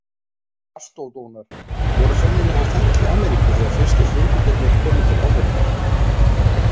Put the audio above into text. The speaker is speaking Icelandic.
Mastódonar voru sennilega á ferli í Ameríku þegar fyrstu frumbyggjarnir komu til álfunnar.